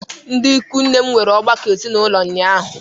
Ndị ikwu nne m nwere ọgbakọ ezinaụlọ ụnyaahụ.